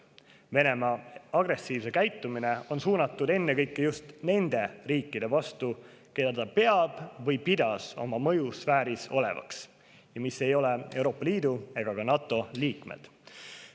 Venemaa agressiivne käitumine on suunatud ennekõike just nende riikide vastu, mida ta peab või pidas oma mõjusfääris olevaks ja mis ei ole Euroopa Liidu ega ka NATO liikmed.